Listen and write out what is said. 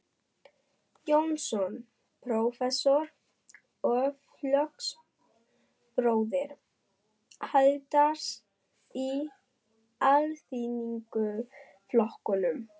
Jónsson, prófessor og flokksbróðir Haralds í Alþýðuflokknum.